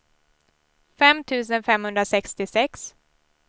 fem tusen femhundrasextiosex